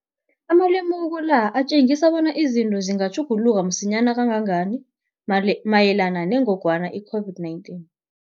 Amalemuko la atjengisa bonyana izinto zingatjhuguluka msinyana kangangani mayelana nengogwana i-COVID-19.